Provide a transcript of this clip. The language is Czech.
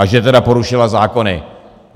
A že tedy porušila zákony.